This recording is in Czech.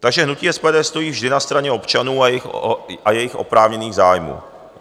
Takže hnutí SPD stojí vždy na straně občanů a jejich oprávněných zájmů.